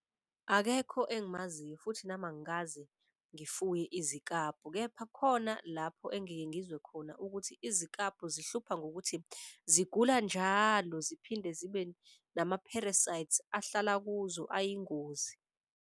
Akekho engimaziyo futhi nami angikaze ngifuye izikabhu kepha khona lapho engike ngizwe khona ukuthi izikabhu zihlupha ngokuthi zigula njalo. Ziphinde zibe nama-parasites ahlala kuzo ayingozi.